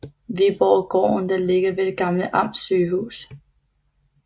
Viborggården der ligger ved det gamle Amtsygehus